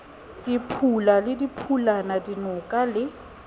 diphula le diphulana dinoka le